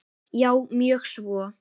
Já, mjög svo.